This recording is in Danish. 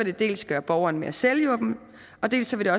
det dels gøre borgeren mere selvhjulpen dels vil